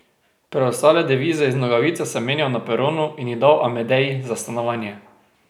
Preostale devize iz nogavice sem menjal na peronu in jih dal Amedeji za stanovanje.